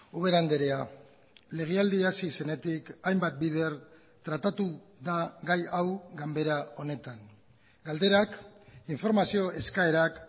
ubera andrea legealdia hasi zenetik hainbat bider tratatu da gai hau ganbera honetan galderak informazio eskaerak